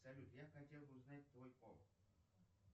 салют я хотел бы узнать твой пол